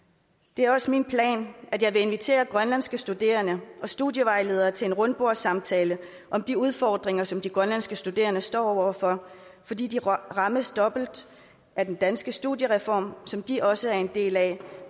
det er også min plan at invitere grønlandske studerende og studievejledere til en rundbordssamtale om de udfordringer som de grønlandske studerende står over for fordi de rammes dobbelt af den danske studiereform som de også er en del af